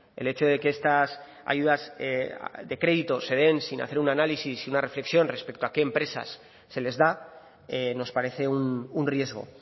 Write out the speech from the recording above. el hecho de que estas ayudas de crédito se den sin hacer un análisis y una reflexión respecto a qué empresas se les da nos parece un riesgo